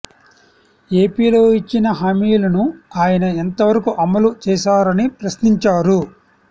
ఏపీలో ఇచ్చిన హామీలను ఆయన ఎంత వరకు అమలు చేశారని ప్రశ్నించారు